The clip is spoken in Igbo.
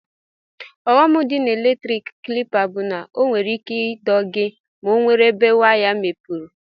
Ughọm di na eletrik klipa bu na onwere ike ido gi ma onwere ebe waya nwere mmepe.